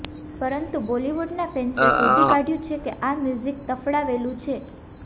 પરંતુ બોલિવૂડના ફૅન્સે શોધી કાઢ્યું છે કે આ મ્યુઝિક તફડાવેલું છે